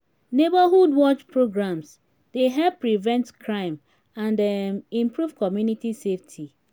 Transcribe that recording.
neighborhood watch programs dey help prevent crime and um improve community safety.